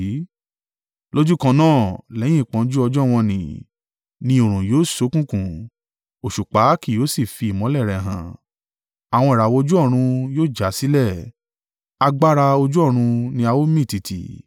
“Lójúkan náà, lẹ́yìn ìpọ́njú ọjọ́ wọ̀n-ọn-nì, “ ‘ni oòrùn yóò ṣókùnkùn, òṣùpá kì yóò sì fi ìmọ́lẹ̀ rẹ hàn; àwọn ìràwọ̀ ojú ọ̀run yóò já sílẹ̀, agbára ojú ọ̀run ni a ó mì tìtì.’